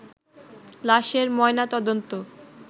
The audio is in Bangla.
লাশের ময়না তদন্ত